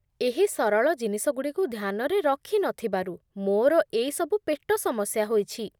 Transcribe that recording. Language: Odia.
ଏହି ସରଳ ଜିନିଷଗୁଡ଼ିକୁ ଧ୍ୟାନରେ ରଖି ନ ଥିବାରୁ ମୋର ଏଇସବୁ ପେଟ ସମସ୍ୟା ହୋଇଛି।